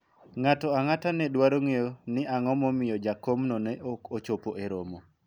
ng'ato ang'ata ne dwaro ng'eyo ni ang'o momiyo jakom no ne ok ochopo e romo